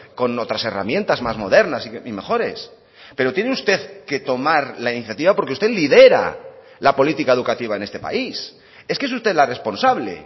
con otras herramientas más modernas y mejores pero tiene usted que tomar la iniciativa porque usted lidera la política educativa en este país es que es usted la responsable